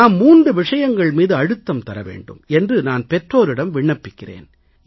நாம் 3 விஷயங்கள் மீது அழுத்தம் தர வேண்டும் என்று நான் பெற்றோரிடம் விண்ணப்பிக்கிறேன்